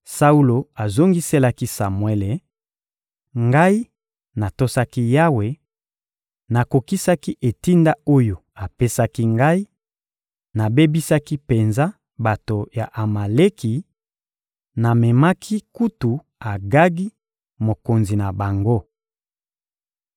Saulo azongiselaki Samuele: — Ngai natosaki Yawe, nakokisaki etinda oyo apesaki ngai: Nabebisaki penza bato ya Amaleki, namemaki kutu Agagi, mokonzi na bango.